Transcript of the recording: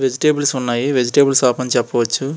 Vegetables ఉన్నాయి vegetables shop అని చేపవచ్చు.